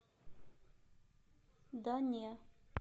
да не